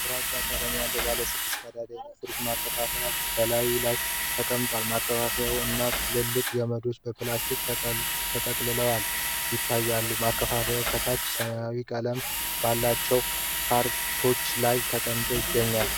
ግራጫ ቀለም ያለው ባለ ስድስት ቀዳዳ የኤሌክትሪክ ማከፋፈያ (Power Strip) በላዩ ላይ ተቀምጧል። ማከፋፈያው እና ጥቅልል ገመዱ በፕላስቲክ ተጠቅልሎ ይታያል። ማከፋፈያው ከታች ሰማያዊ ቀለም ባላቸው ካርቶኖች ላይ ተቀምጦ ይገኛል።